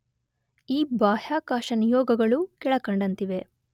ಈ ಬಾಹ್ಯಾಕಾಶ ನಿಯೋಗಗಳು ಕೆಳಕಂಡಂತಿವೆ